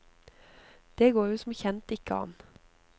Det går jo som kjent ikke an.